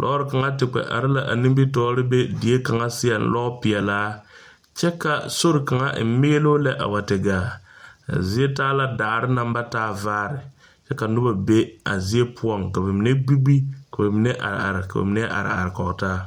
lɔɔre kaŋa te kpɛ are la be a nimitɔre die kaŋa seɛŋ lɔɔ pɛɛlaa kyɛ ka sori kaŋa e miilloo lɛ a wa te gaa a zie taa la daare naŋ ba taa vaare kyɛ ka noba be zie poɔŋ ka ba mine gbi gbi ka ba mine are are kɔɔ taa.